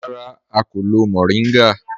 Rárá, à kò lọ́ mòríngá